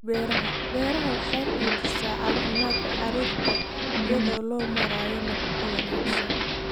Beeraha Beeraha waxay xoojisaa caafimaadka carruurta iyada oo loo marayo nafaqo wanaagsan.